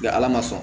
ala ma sɔn